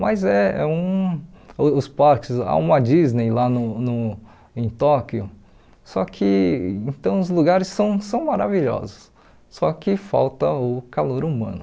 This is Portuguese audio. Mas eh um uh os parques, há uma Disney lá no no em Tóquio, só que então os lugares são são maravilhosos, só que falta o calor humano.